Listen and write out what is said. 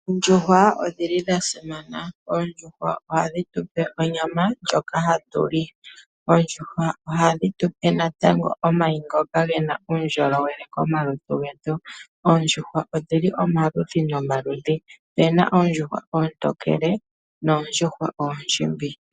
Oondjuhwa odhili dha simana. Oondjuhwa ohadhi tu pe onyama ndjoka hatu li. Oondjuhwa ohadhi tu pe natango omayi ngoka gena uundjolowele komalutu getu. Oondjuhwa odhili nomaludhi nomaludhi opuna oondjuhwa oontookele noondjuhwa oondjimbi.